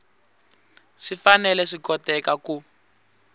swi fanele swi koteka ku